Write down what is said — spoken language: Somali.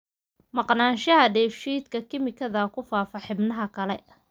Maqnaanshaha dheef-shiid kiimikaadka ku faafa xubnaha kale.